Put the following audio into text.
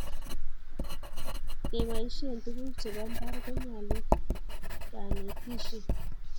ngebaishen tuguk chebo mbar konyalun kanetishiet